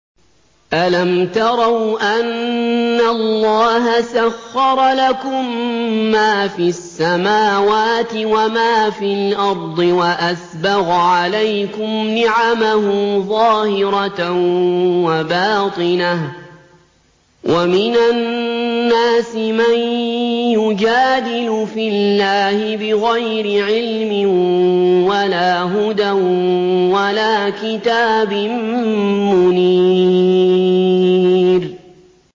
أَلَمْ تَرَوْا أَنَّ اللَّهَ سَخَّرَ لَكُم مَّا فِي السَّمَاوَاتِ وَمَا فِي الْأَرْضِ وَأَسْبَغَ عَلَيْكُمْ نِعَمَهُ ظَاهِرَةً وَبَاطِنَةً ۗ وَمِنَ النَّاسِ مَن يُجَادِلُ فِي اللَّهِ بِغَيْرِ عِلْمٍ وَلَا هُدًى وَلَا كِتَابٍ مُّنِيرٍ